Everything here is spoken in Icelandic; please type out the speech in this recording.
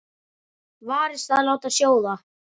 Varist að láta sjóða.